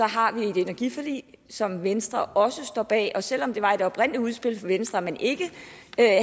har vi et energiforlig som venstre også står bag og selv om det var i det oprindelige udspil fra venstre at man ikke